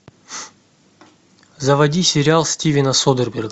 заводи сериал стивена содерберга